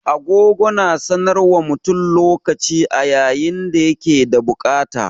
Agogo na sanar wa mutum lokaci a yayin da ya ke da bukata.